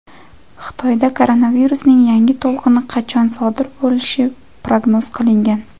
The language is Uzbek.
Xitoyda koronavirusning yangi to‘lqini qachon sodir bo‘lishi prognoz qilingan .